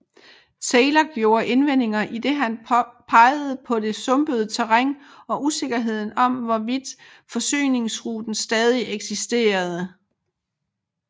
Taylor gjorde indvendinger idet han pegede på det sumpede terræn og usikkerheden om hvorvidt forsyningsruten stadig eksisterende